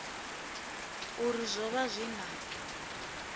uri zwo vha zwi na